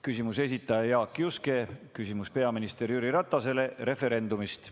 Küsimuse esitaja on Jaak Juske, küsimus on peaminister Jüri Ratasele referendumi kohta.